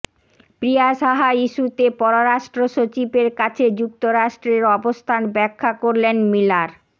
প্রিয়া সাহা ইস্যুতে পররাষ্ট্র সচিবের কাছে যুক্তরাষ্ট্রের অবস্থান ব্যাখ্যা করলেন মিলার